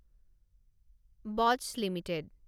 বচ্চ limited